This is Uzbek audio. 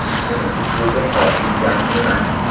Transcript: Uning uslubi qonli jang emas.